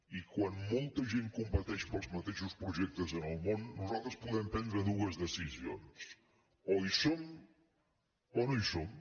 i quan molta gent competeix pels mateixos projectes en el món nosal·tres podem prendre dues decisions o hi som o no hi som